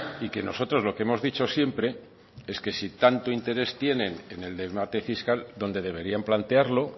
y que nosotros lo que hemos dicho siempre es que si tanto interés tienen en el debate fiscal donde deberían plantearlo